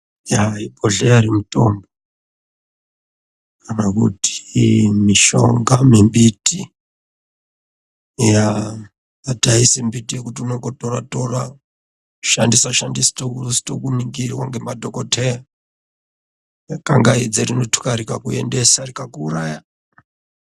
Bhedhlera remutombo kana kuti mishonga yembiti haisi miti yekuti unongotora kushandisa usizi kuningirwa ngema dhokodheya kangaidze rinotuka rikakutora rikakuuraya.